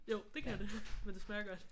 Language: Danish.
Jo det kan det. Men det smager godt